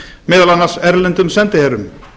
meðal annars erlendum sendiherrum